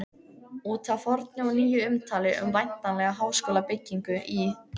Út af fornu og nýju umtali um væntanlega háskólabyggingu í